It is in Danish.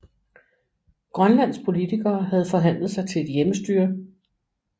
Grønlands politikere havde forhandlet sig til et hjemmestyre